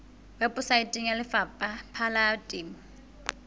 weposaeteng ya lefapha la temo